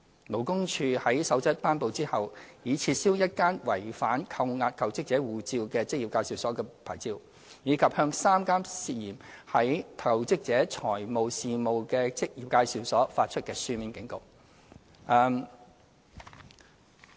勞工處在《守則》頒布之後，已撤銷一間違反扣押求職者護照的職業介紹所的牌照，以及向3間牽涉在求職者財務事宜的職業介紹所發出書面警告。